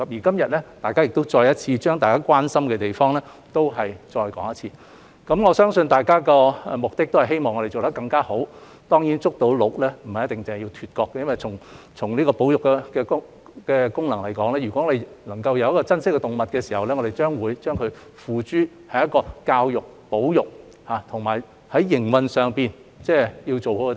今日，大家亦再次重申大家關心的地方，我相信大家的目的是希望我們做得更加好，當然，"捉鹿"不一定要"脫角"，因為從保育的功能來說，我們對動物的珍惜會付諸於教育和保育，並會做好營運。